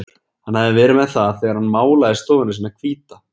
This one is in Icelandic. Hann hafði verið með það þegar hann málaði stofuna sína hvíta.